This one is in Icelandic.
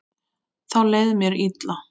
Þá leið mér illa.